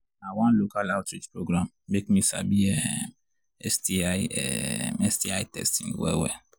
na one local outreach program make me sabi um sti um sti testing well well